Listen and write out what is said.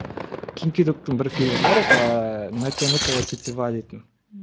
ким ки доктың бір фильмі бар ыыы натянутая тетива дейтін